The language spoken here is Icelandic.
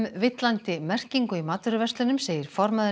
villandi merkingu í matvöruverslunum segir formaður